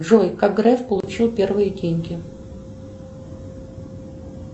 джой как греф получил первые деньги